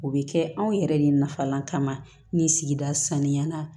O bɛ kɛ anw yɛrɛ de nafalan kama ni sigida sanuyala